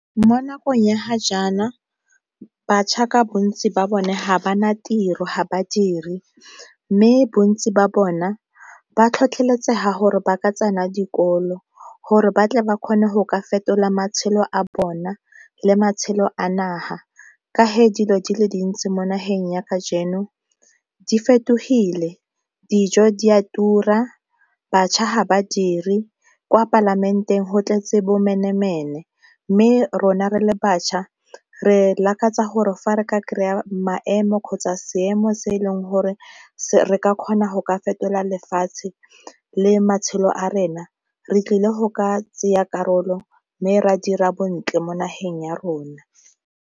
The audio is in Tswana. Mo nakong ya ga jaana batjha ka bontsi ba bone ga ba na tiro ga badiri mme bontsi ba bona ba tlhotlheletsega gore ba ka tsena dikolo gore ba tle ba kgone go ka fetola matshelo a bona le matshelo a naga ka ge dilo di le dintsi mo nageng ya kajeno di fetogile, dijo di a tura, batjha ga ba dire, kwa palamenteng go tletse bo mme rona re le bašwa re lakatsa gore fa re ka kry-a maemo kgotsa seemo se e leng gore re ka kgona go ka fetola lefatshe le matshelo a rena re tlile go ka tsaya karolo mme re a dira bontle mo nageng ya rona.